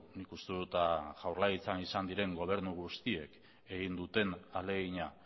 nik uste dut jaurlaritzan izan diren gobernu guztiek egin duten ahalegina